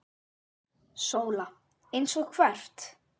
SÓLA: Eins og hvert?